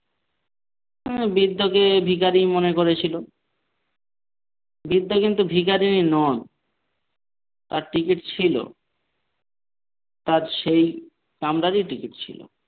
বৃদ্ধকে ভিখারি মনে করেছিল বৃদ্ধ কিন্তু ভিখারিনী নয় তার ticket ছিল তার সেই কামরারই ticket ছিল।